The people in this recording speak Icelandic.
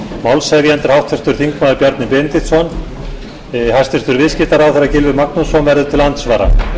málshefjandi er háttvirtur þingmaður bjarni benediktsson hæstvirtur viðskiptaráðherra gylfi magnússon verður til andsvara